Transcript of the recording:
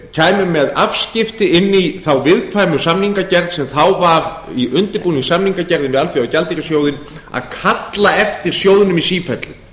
kæmu með afskipti inn í þá viðkvæmu samningagerð sem þá var í undirbúningi samningagerðinni við alþjóðagjaldeyrissjóðinn að kalla eftir sjóðnum í sífellu